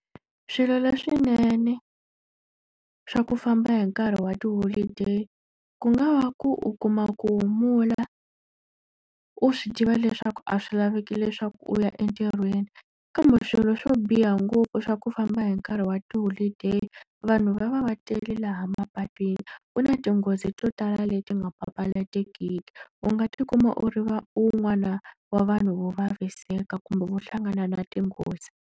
Swilo leswinene swa ku famba hi nkarhi wa tiholideyi, ku nga va ku u kuma ku humula u swi tiva leswaku a swi laveki leswaku u ya entirhweni. Kambe swilo swo biha ngopfu swa ku famba hi nkarhi wa tiholideyi, vanhu va va va tele laha mapatwini. Ku na tinghozi to tala leti nga papalatekiki. U nga ti kuma u ri wun'wana wa vanhu vo vaviseka kumbe vo hlangana na tinghozi.